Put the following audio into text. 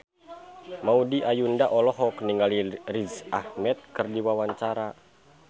Maudy Ayunda olohok ningali Riz Ahmed keur diwawancara